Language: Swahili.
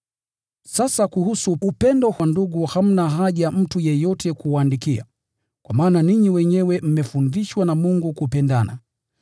Sasa kuhusu upendo wa ndugu hamna haja mtu yeyote kuwaandikia, kwa maana ninyi wenyewe mmefundishwa na Mungu kupendana.